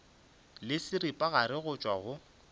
le seripagare go tšwa go